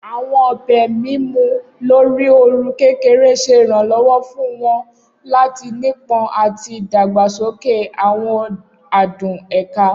Awọn obe mimu lori ooru kekere ṣe iranlọwọ fun wọn lati nipọn ati dagbasoke awọn adun eka.